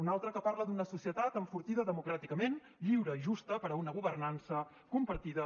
un altre que parla d’una societat enfortida democràticament lliure i justa per a una governança compartida